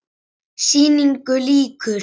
Sýningu lýkur.